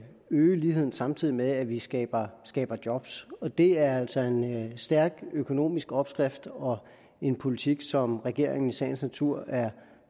øge ligheden samtidig med at vi skaber skaber job det er altså en stærk økonomisk opskrift og en politik som regeringen i sagens natur er